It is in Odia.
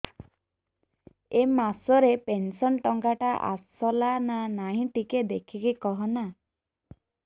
ଏ ମାସ ରେ ପେନସନ ଟଙ୍କା ଟା ଆସଲା ନା ନାଇଁ ଟିକେ ଦେଖିକି କହନା